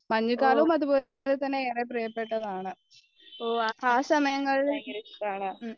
മഞ്ഞുകാലവും അതുപോലെയൊക്കെ തന്നെയാണ് പ്രിയപ്പെട്ടതാണ് ആ സമയങ്ങളിൽ